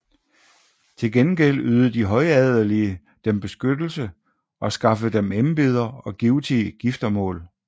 Til gengæld ydede de højadelige dem beskyttelse og skaffede dem embeder og givtige giftermål